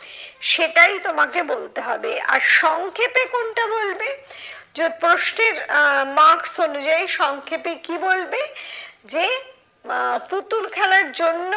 সেটাই তোমাকে বলতে হবে। আর সংক্ষেপে কোনটা বলবে? যে প্রশ্নের আহ marks অনুযায়ী সংক্ষেপে কি বলবে, যে আহ পুতুল খেলার জন্য